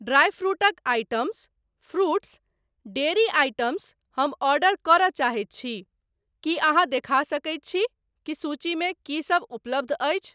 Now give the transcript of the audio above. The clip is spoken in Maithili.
ड्रायफ्रूटक आइटम्स, फ्रूट्स, डेरी आइटम्स हम ऑर्डर करय चाहैत छी, की अहाँ देखा सकैत छि कि सूचीमे की सब उपलब्ध अछि?